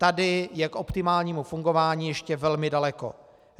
Tady je k optimálnímu fungování ještě velmi daleko.